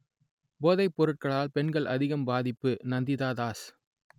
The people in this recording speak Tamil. போதைப் பொருட்களால் பெண்கள் அதிகம் பாதிப்பு நந்திதா தாஸ்